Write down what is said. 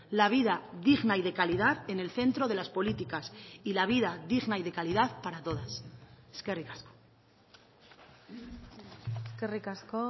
la vida digna y de calidad en el centro de las políticas y la vida digna y de calidad para todas eskerrik asko eskerrik asko